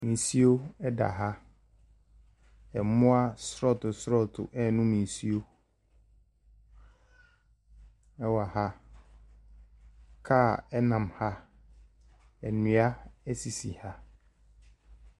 Nsuo da ha. Mmoa asorɔtoo asorɔtoo renom nsuo wɔ ha. Car nam ha. Nnua sisi ha.